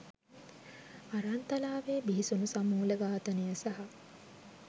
අරන්තලාවේ බිහිසුණු සමූල ඝාතනය සහ